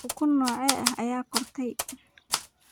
Ukun noocee ah ayaad kortay?